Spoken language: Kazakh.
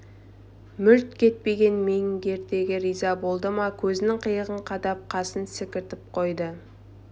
мүлт кетпеген мергендігіне риза болды ма көзінің қиығын қадап қасын секіртіп қойды